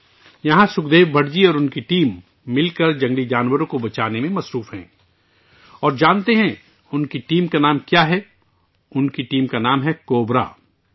یہاں سکھدیو بھٹ جی اور ان کی ٹیم جنگلی حیات کو بچانے کے لیے مل کر کام کر رہے ہیں، اور جانتے ہیں ان کی ٹیم کا نام کیا ہے؟ ان کی ٹیم کا نام کوبرا ہے